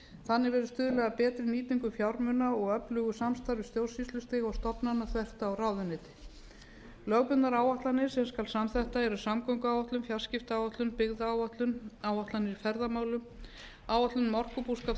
þannig verður stuðlað að betri nýtingu fjármuna og öflugu samstarfi stjórnsýslustigs og stofnana þvert á ráðuneyti lögbundnar áætlanir sem skal samþætta eru samgönguáætlun fjarskiptaáætlun byggðaáætlun áætlanir í ferðamálum áætlun um orkubúskap